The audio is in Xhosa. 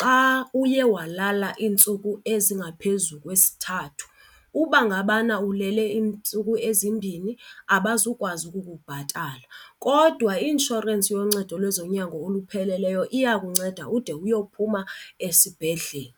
xa uye walala iintsuku ezingaphezu kwesithathu. Uba ngabana ulele iintsuku ezimbini abazukwazi ukukubhatala. Kodwa i-inshorensi yoncedo lwezonyango olupheleleyo iya kunceda ude uyophuma esibhedlele.